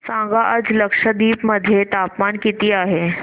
सांगा आज लक्षद्वीप मध्ये तापमान किती आहे